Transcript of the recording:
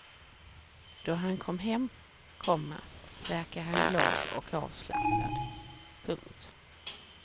Då han kom hem, komma verkade han glad och avslappnad. punkt